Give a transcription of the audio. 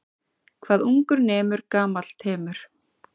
Hvað ungur nemur gamall temur.